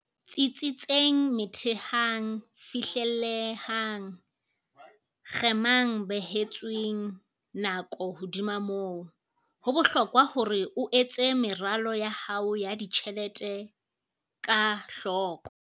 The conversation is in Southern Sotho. Tsitsitseng Methehang Fihlellehang Kgemang Behetsweng Nako Hodima moo, ho bohlokwa hore o etse meralo ya hao ya ditjhelete ka hloko.